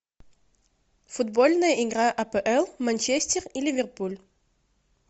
футбольная игра апл манчестер и ливерпуль